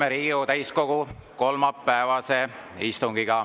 Alustame Riigikogu täiskogu kolmapäevast istungit.